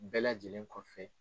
Bɛɛ lajɛlen kɔfɛ.